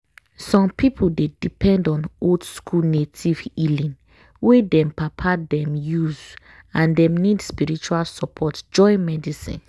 some people dey depend on old-school native healing wey dem papa them use and dem need spiritual support join medicine.